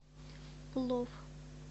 плов